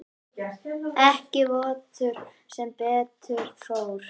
Ekki vottur sem betur fór.